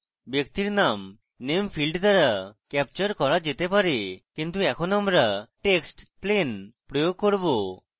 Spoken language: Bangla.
ব্যক্তির name name field দ্বারা captured করা যেতে পারে কিন্তু এখন আমরা text plain প্রয়োগ করব